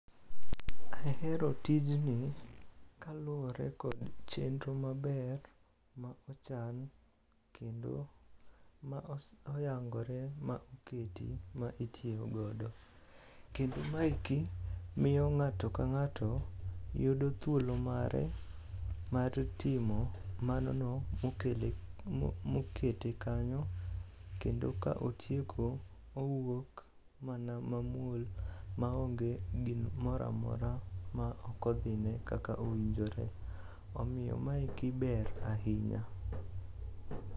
Ahero tijni kaluwore kod chenro maber ma ochan kendo ma oyangore ma oketi ma itiyogodo, kendo maeki miyo ng'ato ka ng'ato yudo thuolo mare mar timo manono mokete kanyo kendo ka otieko owuok mana mamuol maonge gimoro amora ma okodhine kaka owinjore. Omiyo maeki ber ahinya.